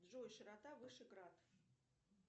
джой широта вышеград